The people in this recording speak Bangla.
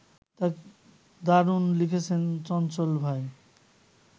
দারুণ লিখেছেন চঞ্চল ভাই